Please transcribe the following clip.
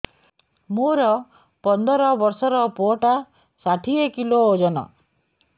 ମୋର ପନ୍ଦର ଵର୍ଷର ପୁଅ ଟା ଷାଠିଏ କିଲୋ ଅଜନ